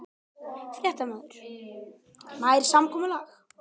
Fréttamaður: Nær samkomulag?